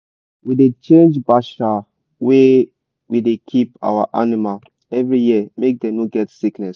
we da change bacha wer we da keep our animal every year make dem no get sickness